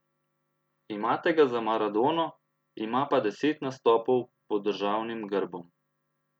Imate ga za Maradono, ima pa deset nastopov pod državnim grbom.